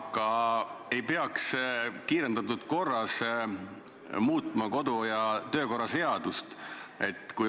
Aga kas ei peaks kiirendatud korras muutma kodu- ja töökorra seadust?